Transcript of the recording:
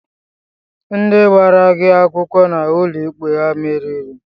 Ndị gbara gị akwụkwọ n'uloikpe ha meriri?